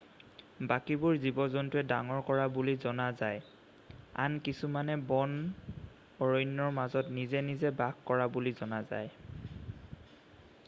বাকীবোৰ জীৱ-জন্তুৱে ডাঙৰ কৰা বুলি জনা যায় আন কিছুমানে বন অৰণ্যৰ মাজত নিজে নিজে বাস কৰা বুলি জনা যায়